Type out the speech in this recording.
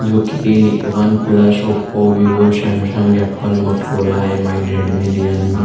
जो कि OnePlus Oppo Vivo Samsung Apple Motorola M E Redmi Realme --